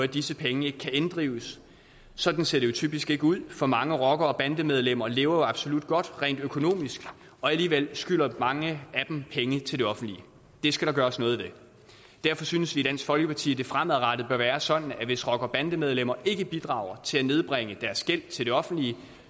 disse penge ikke kan inddrives sådan ser det jo typisk ikke ud for mange rockere og bandemedlemmer lever absolut godt rent økonomisk og alligevel skylder mange af dem penge til det offentlige det skal der gøres noget ved derfor synes vi i dansk folkeparti at det fremadrettet bør være sådan at hvis rockere og bandemedlemmer ikke bidrager til at nedbringe deres gæld til det offentlige